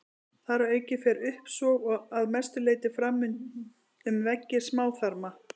Þar að auki fer uppsog að mestu leyti fram um veggi smáþarma.